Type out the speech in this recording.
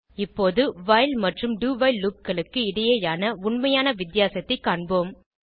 இப்போது வைல் மற்றும் do while loopகளுக்கு இடையேயான உண்மையான வித்தியாசத்தைக் காண்போம்